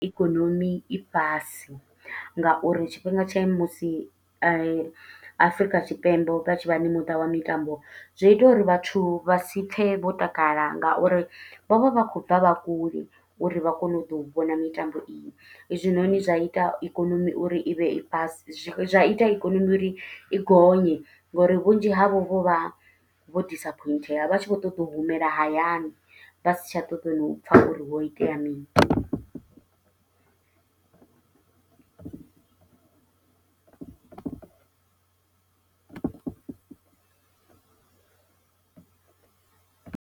Ikonomi i fhasi nga uri tshifhinga tsha musi Afrika Tshipembe vha tshi vha na muṱa wa mitambo. Zwo ita uri vhathu vha si pfe vho takala, nga uri vho vha vha khou bva vha kule uri vha kone u ḓo u vhona mitambo iyo. Hezwinoni zwa ita ikonomi uri i vhe i fhasi, zwi zwa ita ikonomi uri i gonye ngo uri vhunzhi havho vho vha vho disappointheya. Vha tshi vho ṱoḓa u humela hayani, vha si tsha ṱoḓa na u pfa uri, ho itea mini.